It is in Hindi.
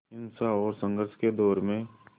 हिंसा और संघर्ष के दौर में